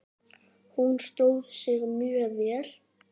Hún stóð sig mjög vel.